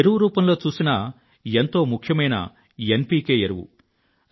ఎరువు రూపంలో చూసినా ఎంతో ముఖ్యమైన ఎన్ పికె ఎరువు